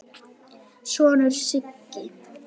sonur, Siggi.